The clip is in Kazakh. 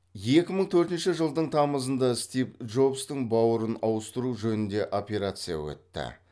екі мың төртінші жылдың тамызында стив джобстың бауырын ауыстыру жөнінде операция өтті